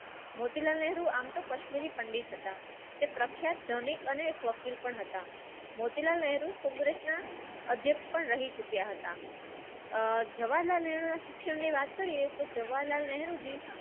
મોતીલાલ નેહરુ આમ તો કશ્મીરી પંડિત હતા તે પ્રખ્યાત ધનિક અનેક પણ હતા. કોંગ્રેસના અધ્યક્ષ પણ રહી ચૂક્યા હત અવારનવાર શિક્ષણની વાત કરીએ તો જવાહરલાલ નહેરુ જી